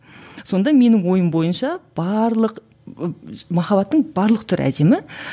сонда менің ойым бойынша барлық махаббаттың барлық түрі әдемі